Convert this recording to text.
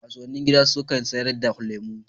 Kasuwannin gida sukan sayar da lemu